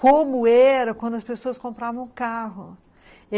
Como era quando as pessoas compravam um carro.